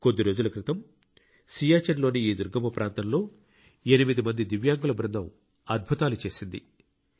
కొద్ది రోజుల క్రితం సియాచిన్ లోని ఈ దుర్గమ ప్రాంతంలో 8 మంది దివ్యాంగుల బృందం అద్భుతాలు చేసింది